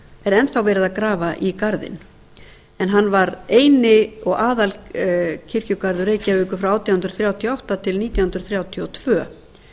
er enn verið að grafa í garðinn en hann var eini og aðalkirkjugarður reykjavíkur frá átján hundruð þrjátíu og átta til nítján hundruð þrjátíu og tvö